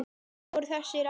Hverjir voru þessir aðilar?